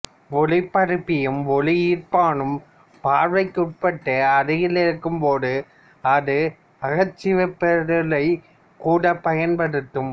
ஒலிபரப்பியும் ஒலிஈர்ப்பானும் பார்வைக்குட்பட்டு அருகில் இருக்கும் போது அது அகச்சிவப்பொளியைக் கூட பயன்படுத்தும்